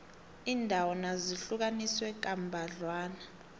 iindawo nazo zihlukaniswe kambadlwana